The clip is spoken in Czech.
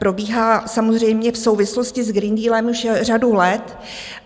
Probíhá samozřejmě v souvislosti s Green Dealem už řadu let.